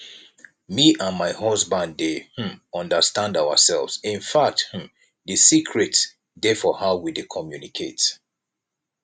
me and my husband dey um understand ourselves infact um the secret dey for how we dey communicate